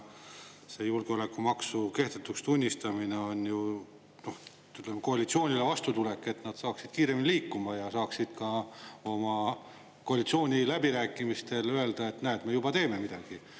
See julgeolekumaksu kehtetuks tunnistamine on ju koalitsioonile vastutulek, et nad saaksid kiiremini liikuma ja saaksid ka oma koalitsiooniläbirääkimistel öelda, et näed, me juba teeme midagi.